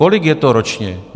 Kolik je to ročně?